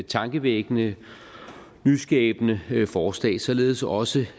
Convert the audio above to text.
tankevækkende nyskabende forslag således også